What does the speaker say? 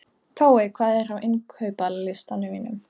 Tói, hvað er á innkaupalistanum mínum?